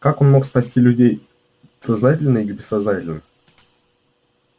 как он мог спасти людей сознательно и бессознательно